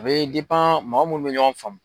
A bɛ mɔgɔ mun bɛ ɲɔgɔn faamu.